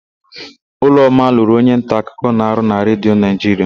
Ụlọma lụrụ onyenta akụkọ na-arụ na Redio Naịjiria.